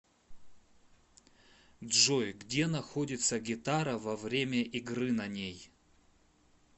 джой где находится гитара во время игры на ней